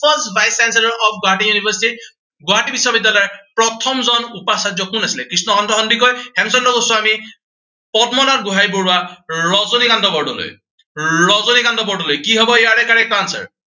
first vice chancellor of Guwahati University Guwahati বিশ্ববিদ্য়ালয়ৰ প্ৰথমজন উপাচাৰ্য কোন আছিলে, কৃষ্ণকান্ত সন্দিকৈ, হেমচন্দ্ৰ গোস্বাী, পদ্মনাথ গোঁহাঞি বৰুৱা, ৰজনীকান্ত বৰদলৈ। ৰজনীকান্ত বৰদলৈ, কি হব ইয়াৰে correct answer